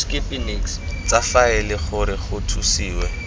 tsa faele gore go thusiwe